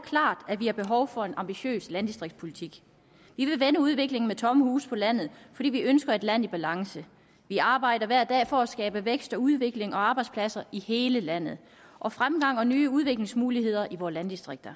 klart at vi har behov for en ambitiøs landdistriktspolitik vi vil vende udviklingen med tomme huse på landet fordi vi ønsker et land i balance vi arbejder hver dag for at skabe vækst udvikling og arbejdspladser i hele landet og fremgang og nye udviklingsmuligheder i vores landdistrikter